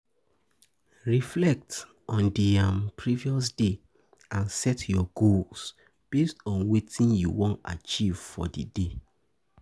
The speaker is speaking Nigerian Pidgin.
Reflect on di um previous day and set your goals based on wetin you wan achieve for di day